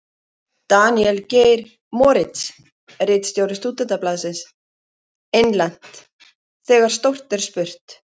Daníel Geir Moritz, ritstjóri Stúdentablaðsins: Innlent: Þegar stórt er spurt.